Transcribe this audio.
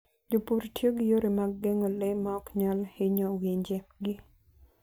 Jopur tiyo gi yore mag geng'o le maok nyal hinyowinje gi.